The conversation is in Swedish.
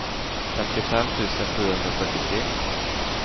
femtiofem tusen sjuhundrafyrtiotre